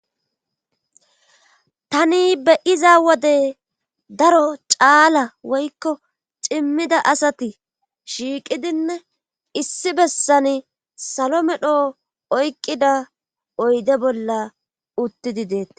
Tani beyiza wode daro caala woykko cimmida asati shiiqidinne issi bessan salo medho oykqida oyde bolla uttidi deeta